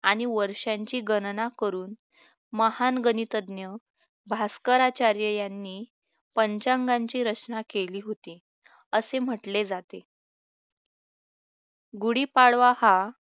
आणि वर्षांची गणना करून महान गणितज्ञ भास्कराचार्य यांनी पंचांगाची योजना केली होती असे म्हटले जाते गुढीपाडवा हा